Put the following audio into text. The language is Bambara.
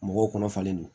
Mɔgɔw kɔnɔ falen don